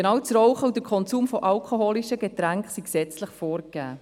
Genau das Rauchen und der Konsum alkoholischer Getränke sind gesetzlich reguliert.